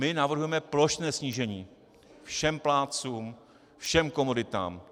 My navrhujeme plošné snížení - všem plátcům, všem komoditám.